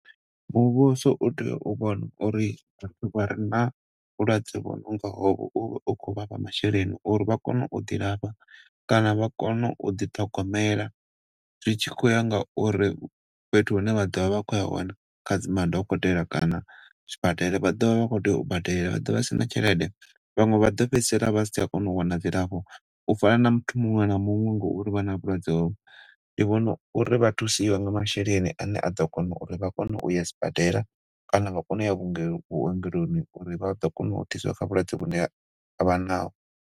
Muvhuso u tea u vhona uri na vhulwadze hono nga o vhu masheleni uri vha kone u ḓilafha kana vha kone u ḓi ṱhogomela zwi tshi khou ya ngauri fhethu hune vha ḓo vha vha khouya hone kha dzi ma dokotela kana sibadela vha ḓo vha vha khou tea u badela, vha ḓovha vha sina tshelede vhaṅwe vha ḓo fhedzisela vha si tsha kona u wana dzilafho u fana na muthu muṅwe na muṅwe ngauri vha na vhulwadze ho vho. Ndi vhona uri vha thuse nga masheleni ane a ḓo kona uri vhaye sibadela kana vha kone u ya vhuongeloni uri vha ḓo kona u thusiwa kha vhulwadze vhune vhavha naho.